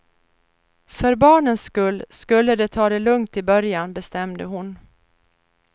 För barnens skull skulle de ta det lugnt i början, bestämde hon.